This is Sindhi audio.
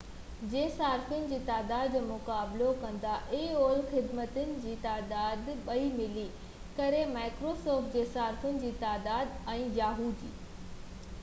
yahoo جي صارفن جي تعداد ۽ microsoft خدمتن جي تعداد ٻئي ملي ڪري aol جي صارفن جي تعداد جو مقابلو ڪندا